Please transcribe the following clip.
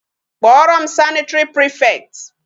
Kpọrọ m sanitary prefect.